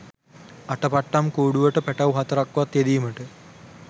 අටපට්ටම් කූඩුවට පැටව් හතරක් වත් යෙදීමට